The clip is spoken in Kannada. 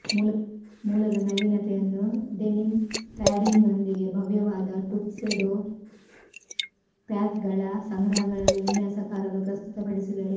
ಮೂಲದ ನವೀನತೆಯನ್ನು ಡೆನಿಮ್ ಪ್ಯಾಡಿಂಗ್ನೊಂದಿಗೆ ಭವ್ಯವಾದ ಟುಕ್ಸೆಡೊ ಪ್ಯಾಕ್ಗಳ ಸಂಗ್ರಹಗಳಲ್ಲಿ ವಿನ್ಯಾಸಕಾರರು ಪ್ರಸ್ತುತಪಡಿಸಿದರು